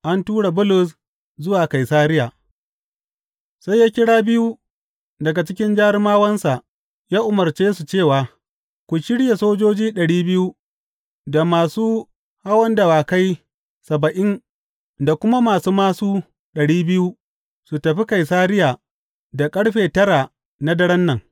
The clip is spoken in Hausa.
An tura Bulus zuwa Kaisariya Sai ya kira biyu daga cikin jarumawansa, ya umarce su cewa, Ku shirya sojoji ɗari biyu, da masu hawan dawakai saba’in da kuma masu māsu ɗari biyu su tafi Kaisariya da ƙarfe tara na daren nan.